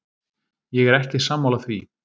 Ég er ekki sammála því.